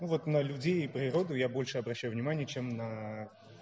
ну вот на людей и природу я больше обращаю внимания чем на